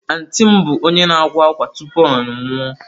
Antịị m bụ onye akwa akwa tupu ọ anwụọ.